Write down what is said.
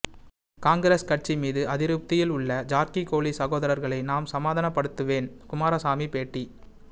காங்கிரஸ் கட்சி மீது அதிருப்தியில் உள்ள ஜார்கிகோளி சகோதரர்களை நான் சமாதானப்படுத்துவேன் குமாரசாமி பேட்டி